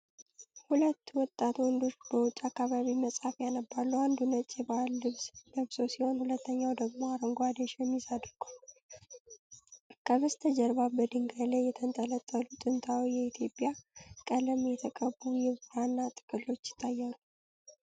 ሁለት ወጣት ወንዶች በውጭ አካባቢ መጽሐፍ ያነባሉ። አንዱ ነጭ የባህል ልብስ ለብሶ ሲሆን፣ ሁለተኛው ደግሞ አረንጓዴ ሸሚዝ አድርጓል። ከበስተጀርባ በድንጋይ ላይ የተንጠለጠሉ ጥንታዊ የኢትዮጵያ ቀለም የተቀቡ የብራና ጥቅሎች ይታያሉ።